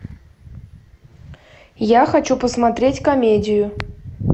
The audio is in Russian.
я хочу посмотреть комедию